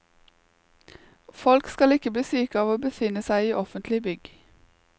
Folk skal ikke bli syke av å befinne seg i offentlige bygg.